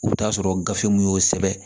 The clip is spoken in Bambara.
U bɛ taa sɔrɔ gafe mun y'o sɛbɛn